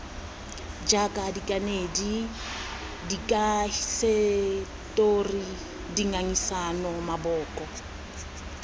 jaaka dikanedi dikahisetori dingangisano maboko